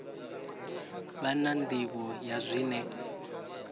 vha na nḓivho ya zwine